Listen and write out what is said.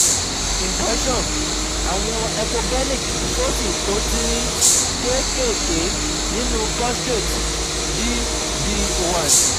Impression awon echogenic foci to tinrin kekeke ninu prostate D/D: 1